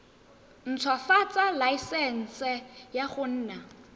ntshwafatsa laesense ya go nna